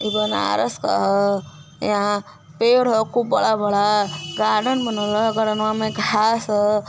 यहाँ पेड़ है खूब बड़ा बड़ा गार्डन बना हुआ है गार्डनवा में घास हैं।